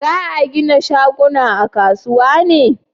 za a gina shaguna a kasuwa ne?